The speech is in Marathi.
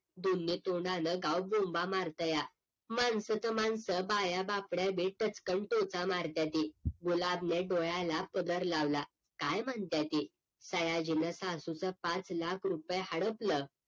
दोन्ही तोंडानं गाव बोंबा मारतया माणसं ते माणसं बाया बापड्या बी टचकन टोचा मारत्याती गुलाब ने डोळ्याला पदर लावला काय म्हणत्याती सयाजी न सासूचं पाच लाख रुपय हडपलं